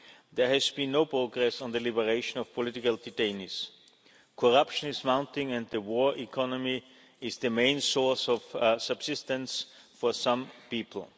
There has been no progress on the liberation of political detainees. Corruption is mounting, and the war economy is the main source of subsistence for some people.